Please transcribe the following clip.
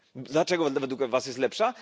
Dlaczego według was jest lepsza?